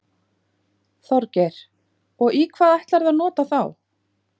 Þorgeir: Og í hvað ætlarðu að nota þá?